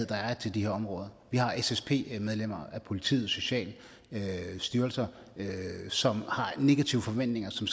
der er til de her områder vi har ssp medlemmer af politiet og sociale styrelser som har negative forventninger som